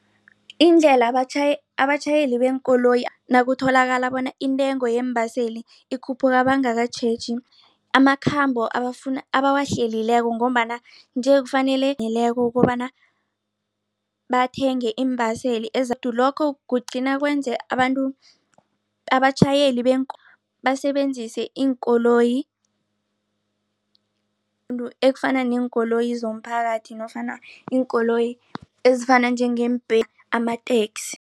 Indlela abatjhayeli beenkoloyi nakutholakala bona intengo yeembaseli ikhuphuka bangakatjheji amakhambo abawahlelileko ngombana nje kufanele aneleko ukobana bathenge iimbaseli lokho kugcina kwenze abantu abatjhayeli basebenzise iinkoloyi ekufana neenkoloyi zomphakathi nofana iinkoloyi ezifana amateksi.